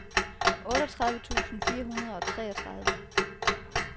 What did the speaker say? otteogtredive tusind fire hundrede og treogtredive